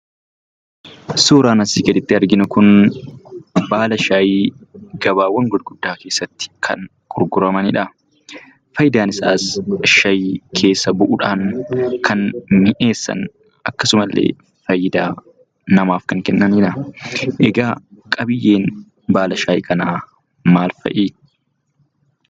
Suuraan asii gaditti arginu kun baala shaayii gabaawwan guguddaa keessatti kan gurguramaniidha. Faayidaan isaas shaayii keessa bu'uudhaan kan mi'eessan, akkasuma illee faayidaa namaaf kan kennaniidha. Egaa qabiyyeen baala shaayii kanaa maal fa'i?